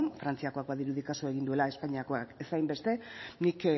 frantziakoak badirudi kasu egin duela espainiakoak ez hainbeste nik